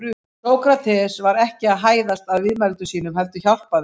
Sókrates var ekki að hæðast að viðmælendum sínum heldur hjálpa þeim.